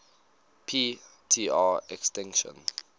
p tr extinction